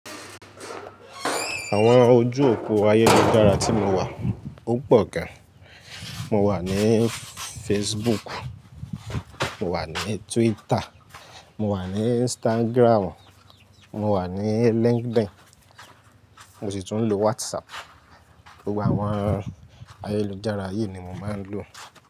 Àwọn ojú òpó ayélujára tí mo wà, ó pọ̀ gan. Mo wà ní Facebook, mo wà ní Twitter, mo wà ní Instagram, mo wà ní LinkedIn, mo sì tún ń lo WhatsApp. Gbogbo àwọn ayélujára yìí ni mo máa ń lò.